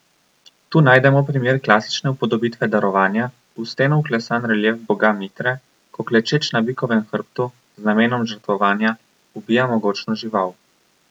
Tu najdemo primer klasične upodobitve darovanja, v steno vklesan relief boga Mitre, ko klečeč na bikovem hrbtu, z namenom žrtvovanja, ubija mogočno žival.